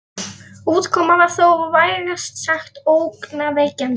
Útkoman var þó vægast sagt ógnvekjandi.